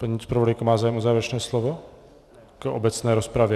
Paní zpravodajka má zájem o závěrečné slovo v obecné rozpravě?